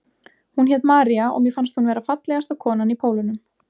Hún hét María og mér fannst hún vera fallegasta konan í Pólunum.